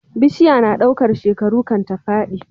Bishiya na ɗaukar shekaru kan ta fadi